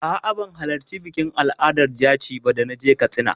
A'a, ban halarci bikin al'adar jaci ba da na je Katsina.